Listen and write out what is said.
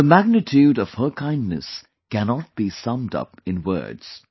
The magnitude of her kindness cannot be summed up in words